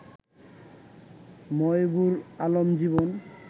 Moybur Alam Jibon